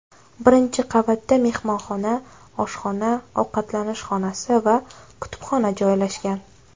Birinchi qavatda mehmonxona, oshxona, ovqatlanish xonasi va kutubxona joylashgan.